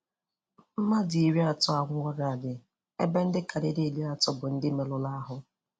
Mmadụ iri atọ anwụọlaari, ebe ndị karịrị iri atọ bụ ndị merụrụ ahụ.